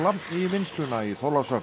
í vinnsluna í Þorlákshöfn